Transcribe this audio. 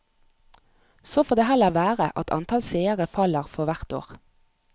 Så får det heller være at antall seere faller for hvert år.